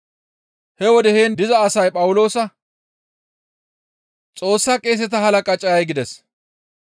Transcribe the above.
He wode heen diza asay Phawuloosa, «Xoossa qeeseta halaqa cayay?» gides.